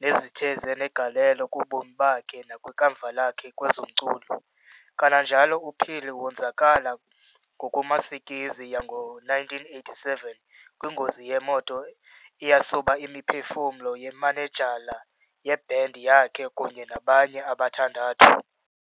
nezithe zanegalelo kubomi bakhe nakwikamva lakhe kwezomculo. Kanajalo uPhiri wonzakala ngokumasikizi yango1987 kwingozi yemoto eyasuba imiphefumlo yemanejala ye"band" yakhe kunye nabanye abathandathu.